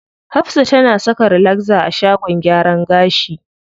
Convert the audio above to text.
Hafsa tana saka relaxer a shagon gyaran gashi.